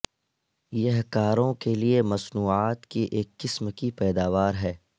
یہ کاروں کے لئے مصنوعات کی ایک قسم کی پیداوار ہے